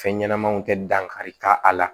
Fɛn ɲɛnɛmanw tɛ dan kari ka a la